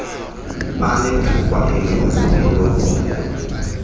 anethuba elikhulu lokukhula